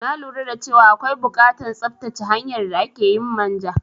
Na lura dace wa akwai bukatan tsattace hanyar da akeyin manja